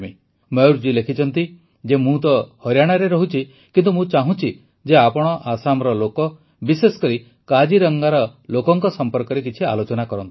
ମୟୂରଜୀ ଲେଖିଛନ୍ତି ଯେ ମୁଁ ତ ହରିୟାଣାରେ ରହୁଛି କିନ୍ତୁ ମୁଁ ଚାହୁଁଛି ଯେ ଆପଣ ଆସାମର ଲୋକ ବିଶେଷ କରି କାଜିରଙ୍ଗାର ଲୋକଙ୍କ ସମ୍ପର୍କରେ କିଛି ଆଲୋଚନା କରନ୍ତୁ